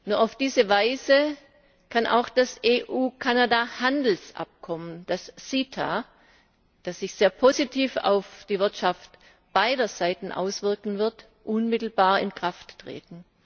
Nur auf diese Weise kann auch das EU Kanada Handelsabkommen, das CETA, das sich sehr positiv auf die Wirtschaft beider Seiten auswirken wird, unmittelbar in Kraft treten.